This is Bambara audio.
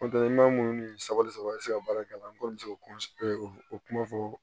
maa mun ni sabali saba be se ka baara kɛ ala kɔni be se k'o o kuma fɔ